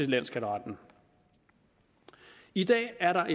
landsskatteretten i dag er der